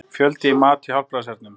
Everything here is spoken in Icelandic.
Fjöldi í mat hjá Hjálpræðishernum